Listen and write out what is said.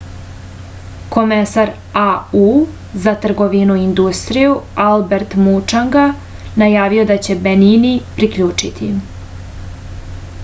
komesar au za trgovinu i industriju albert mučanga najavio je da će se benin priključiti